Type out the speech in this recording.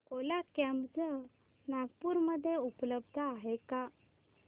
ओला cabs Nagpur मध्ये उपलब्ध आहे का